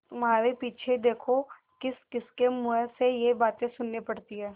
तुम्हारे पीछे देखो किसकिसके मुँह से ये बातें सुननी पड़ती हैं